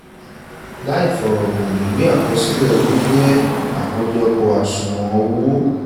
làì fọ̀rọ̀gùn ìwé àkọsílẹ̀ owó jẹ́ àkójọpọ̀.àṣùwọ̀n owó